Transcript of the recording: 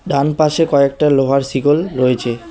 ডানপাশে কয়েকটা লোহার শিকল রয়েছে।